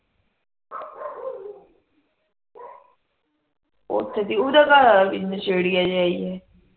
ਉਥੇ ਥੀ ਉਹਦਾ ਘਰਵਾਲਾ ਵੀ ਨਸ਼ੇੜੀਏ ਜਾ ਈ ਏ